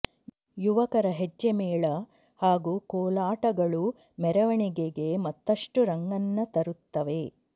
ಯುವಕರ ಹೆಜ್ಜೆಮೇಳ ಹಾಗೂ ಕೋಲಾಟಗಳು ಮೆರವಣಿಗೆಗೆ ಮತ್ತಷ್ಟು ರಂಗನ್ನ ತರುತ್ತವೆ